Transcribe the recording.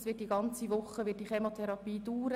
Diese wird die ganze über Woche andauern.